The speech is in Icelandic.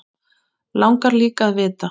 Langar líka að vita.